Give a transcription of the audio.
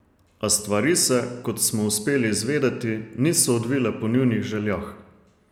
A stvari se, kot smo uspeli izvedeti, niso odvile po njunih željah.